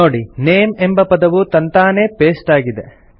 ನೋಡಿ ನೇಮ್ ಎಂಬ ಪದವು ತಂತಾನೇ ಪೆಸ್ಟ್ ಆಗಿದೆ